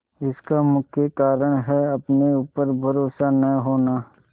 इसका मुख्य कारण है अपने ऊपर भरोसा न होना